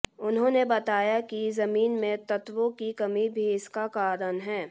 उन्होंने बताया कि जमीन में तत्वों की कमी भी इसका कारण है